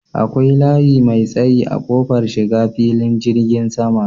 Akwai layi mai tsayi a kofar shiga filin jirgin sama.